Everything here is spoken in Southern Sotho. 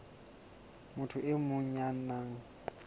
motho e mong ya nang